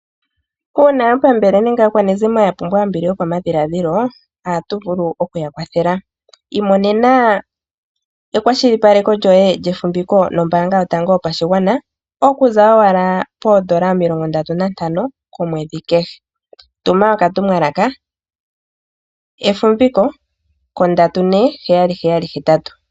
Uuna aapambele nenge aakwanezimo yapumbwa ombili yokomwenyo , ohatu vulu okuya kwathela. Imonena ekwashilipaleko lyoye lyefumviko nombaanga yotango yopashigwana okuza owala N$35 komwedhi kehe. Tuma okatumwalaka efumbiko ko 34778.